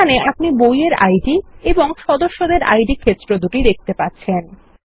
এখানে আপনি বইয়ের আইডি এবং সদস্যদের আইডি ক্ষেত্র দুটি দেখতে পাচ্ছেন